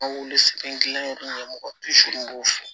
An wele gilan yen mɔgɔ b'o fɔ